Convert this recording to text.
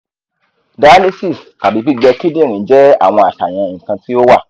dialysis tabi gbigbe kidinrin jẹ awọn aṣayan nikan ti o wa